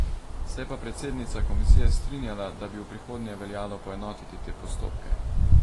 Se je pa predsednica komisije strinjala, da bi v prihodnje veljalo poenotiti te postopke.